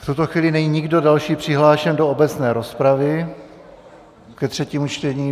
V tuto chvíli není nikdo další přihlášen do obecné rozpravy ke třetímu čtení.